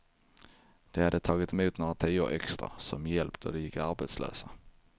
De hade tagit emot några tior extra som hjälp då de gick arbetslösa.